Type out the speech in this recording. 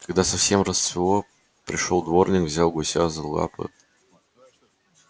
когда совсем рассвело пришёл дворник взял гуся за лапы